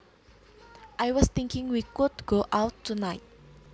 I was thinking we could go out tonight